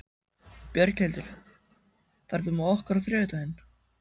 Björghildur, ferð þú með okkur á þriðjudaginn?